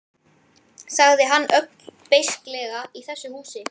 sagði hann ögn beisklega, í þessu húsi